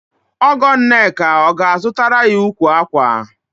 Ọgọ Nneka ọ ga-azụtara ya ukwu ákwà?